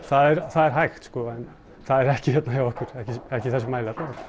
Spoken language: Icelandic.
það er það er hægt sko en það er ekki hérna hjá okkur ekki í þessum mæli alla